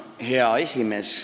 Hea esimees!